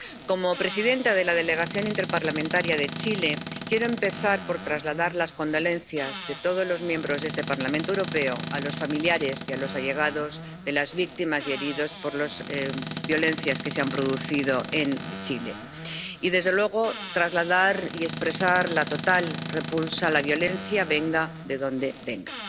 Como presidenta de la Delegación en la Comisión Mixta Parlamentaria UE Chile, quiero empezar por trasladar las condolencias de todos los diputados de este Parlamento Europeo a los familiares y a los allegados de las víctimas y a los heridos por las violencias que se han producido en Chile y, desde luego, trasladar y expresar la total repulsa de la violencia, venga de donde venga.